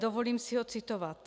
Dovolím si ho citovat.